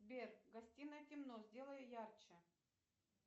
сбер в гостиной темно сделай ярче